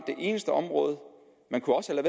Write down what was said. det eneste område man kunne også